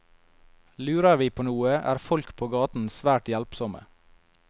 Lurer vi på noe, er folk på gaten svært hjelpsomme.